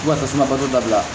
Fo ka tasuma bato dabila